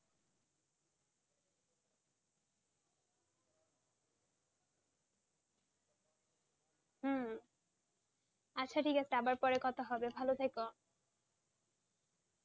হম আচ্ছা ঠিক আছে আবার পরে কথা হবে ভালো থেকো,